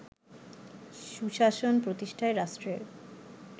সুশাসন প্রতিষ্ঠায় রাষ্ট্রের